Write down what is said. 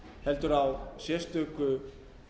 heldur á sérstöku